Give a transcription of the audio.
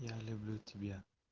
я люблю тебя